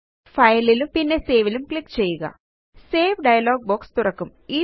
ഫയലിലും പിന്നെ saveലും ക്ലിക്ക് ചെയ്യുക സേവ് ഡയലോഗ് ബോക്സ് തുറക്കും